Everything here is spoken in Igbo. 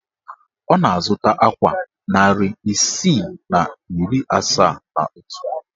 Ọ na-azụta akwa narị isii na iri asaa na otu